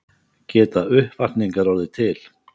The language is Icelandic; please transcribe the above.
Geta uppvakningar orðið til?